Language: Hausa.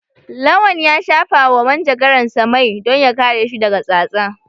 Lawan ya shafawa manjagaransa mai don ya kare shi daga tsatsa.